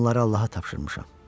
Onları Allaha tapşırmışam.